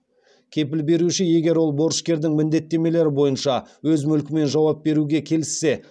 кепіл беруші егер ол борышкердің міндеттемелері бойынша өз мүлкімен жауап беруге келіссе